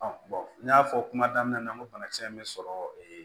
n y'a fɔ kuma daminɛ na n ko banakisɛ in bɛ sɔrɔ